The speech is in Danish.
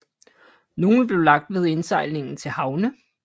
Nogle blev lagt ved indsejlingen til havne